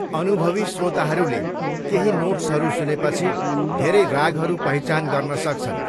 अनुभवी श्रोताहरूले केही नोट्सहरू सुनेपछि धेरै रागहरू पहिचान गर्न सक्छन्।